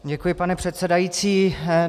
Děkuji, pane předsedající.